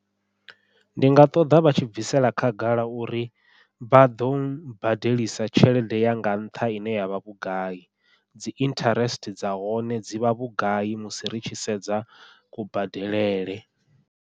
Ndi nga ṱoḓa vha tshi bvisela khagala uri vha ḓo badelisa tshelede ya nga nṱha ine yavha vhugai, dzi interest dza hone dzi vha vhugai musi ri tshi sedza kubadelele.